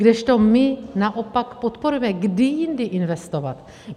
Kdežto my naopak podporujeme - kdy jindy investovat?